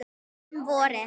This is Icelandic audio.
Um vorið